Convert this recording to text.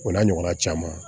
O n'a ɲɔgɔnna caman